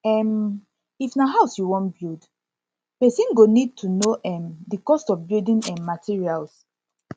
um if na house you wan build person wan build person go need to know um di cost of building um materials